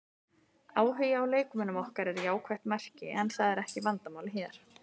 Áhugi á leikmönnum okkar er jákvætt merki en það er ekki vandamálið hér.